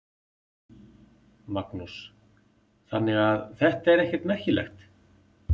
Magnús: Þannig að þetta er ekkert merkilegt?